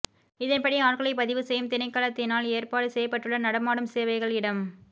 இதன்படி ஆட்களை பதிவு செய்யும் திணைக்களத்தினால் ஏற்பாடு செய்யப்பட்டுள்ள நடமாடும் சேவைகள் இடம்